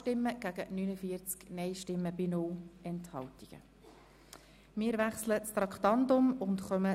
Sie haben Ziffer 3 als Postulat angenommen.